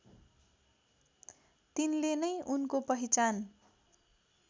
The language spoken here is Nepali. तिनले नै उनको पहिचान